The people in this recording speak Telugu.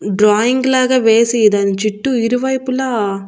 డ్రాయింగ్ లాగా వేసి దాని చుట్టూ ఇరువైపులా.